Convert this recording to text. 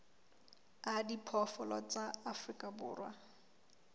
a diphoofolo tsa afrika borwa